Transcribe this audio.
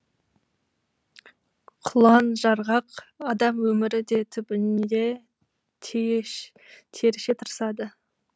құлан жарғақ адам өмірі де түбінде теріше тырысады